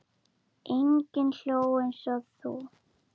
Enginn hló eins og þú.